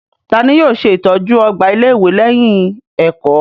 Ta ni yóò ṣe ìtọ́jú ọgbà ilé-ìwé lẹ́yìn ẹ̀kọ́?